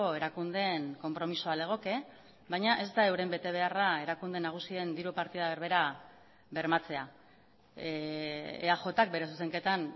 erakundeen konpromisoa legoke baina ez da euren betebeharra erakunde nagusien diru partida berbera bermatzea eajk bere zuzenketan